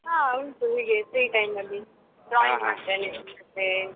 ಹಾ ಉಂಟು ಹೀಗೆ free time ಅಲ್ಲಿ ಮಾಡ್ತೇನೆ ಮತ್ತೆ.